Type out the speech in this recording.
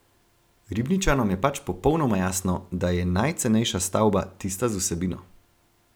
Ribničanom je pač popolnoma jasno, da je najcenejša stavba tista z vsebino.